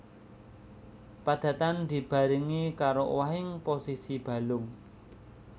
Padatan dibarengi karo owahing posisi balung